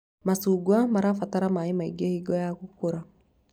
Macungwa mabataraga maĩ maingĩ hingo ya gũkũra